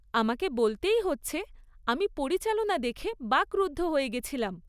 আমাকে বলতেই হচ্ছে আমি পরিচালনা দেখে বাক্রুদ্ধ হয়ে গেছিলাম।